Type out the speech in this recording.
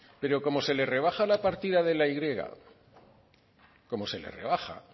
pero como se le rebaja la partida de la y como se le rebaja